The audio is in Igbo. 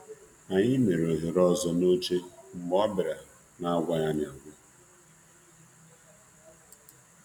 Anyị mebere ohere n'elu ihe ndina mgbe ọ gbagoro elu n'amaghị ọkwa.